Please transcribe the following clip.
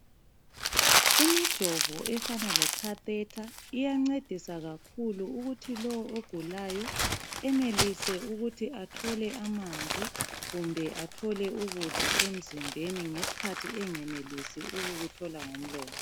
Imijovo efana lekhathetha iyancedisa kakhulu ukuthi lowo ogulayo enelise ukuthi athole amanzi, kumbe athole ukudla emzimbeni ngeskhathi engenilisi ukukuthola ngomlomo.